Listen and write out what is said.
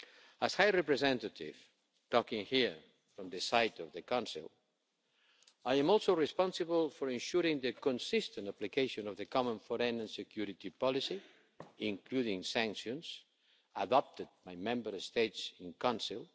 As High Representative, talking here from the side of the Council, I am also responsible for ensuring the consistent application of the common foreign and security policy, including sanctions adopted by Member States in Council.